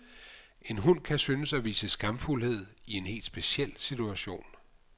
En hund kan synes at vise skamfuldhed i en helt speciel situation.